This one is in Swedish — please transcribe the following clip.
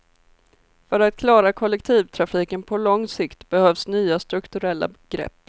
För att klara kollektivtrafiken på lång sikt behövs nya strukturella grepp.